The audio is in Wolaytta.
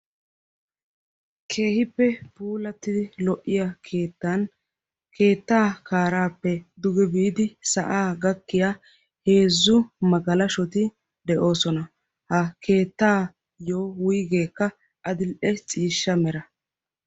keehippe puulattidi lo"iya keettan keettaa kaaraappe duge biidi sa'aa gakkiya heezzu magalashoti de'oosona. ha keettaayyo wuigeekka adil"e ciishsha mera.